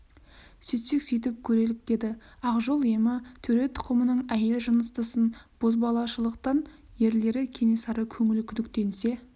сөйтсек сөйтіп көрелік деді ақ жол емі төре тұқымының әйел жыныстысын бозбалашылықтан ерлері кенесары көңілі күдіктенсе